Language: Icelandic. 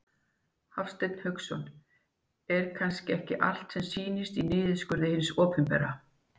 Hafsteinn Hauksson: Er kannski ekki allt sem sýnist í niðurskurði hins opinbera?